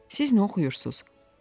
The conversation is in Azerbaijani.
Siz nə oxuyursuz?